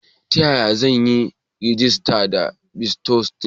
Ta yaya zan yi rajista da bitcoin?